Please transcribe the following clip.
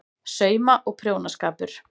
SAUMA- OG PRJÓNASKAPUR